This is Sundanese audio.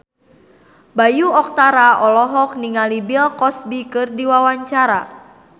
Bayu Octara olohok ningali Bill Cosby keur diwawancara